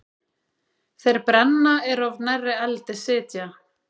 Þeir brenna er of nærri eldi sitja.